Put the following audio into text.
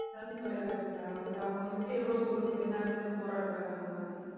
Sun தொலைக்காட்சிதான் அதுல அவங்க வந்துட்டு எவ்வளவு ஒரு பெண்ணா இருந்து போராடுறாங்க அந்த மாதிரி.